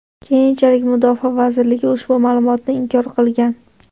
Keyinchalik Mudofaa vazirligi ushbu ma’lumotni inkor qilgan.